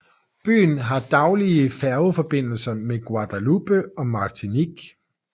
Byen har daglig færgeforbindelse med Guadeloupe og Martinique